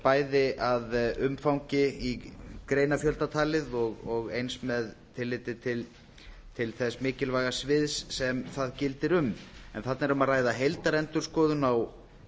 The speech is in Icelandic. bæði að umfangi í greinafjölda talið og eins með tilliti til þess mikilvæga sviðs sem það gildir um þarna er um að ræða heildarendurskoðun á